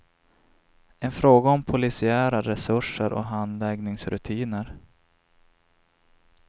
En fråga om polisiära resurser och handläggningsrutiner.